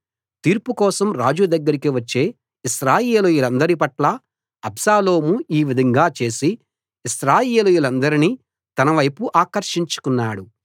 తీర్పు కోసం రాజు దగ్గరికి వచ్చే ఇశ్రాయేలీయులందరి పట్లా అబ్షాలోము ఈ విధంగా చేసి ఇశ్రాయేలీయులనందరినీ తనవైపు ఆకర్షించుకున్నాడు